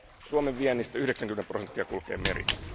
Suomen viennistä 90 prosenttia kulkee meritse.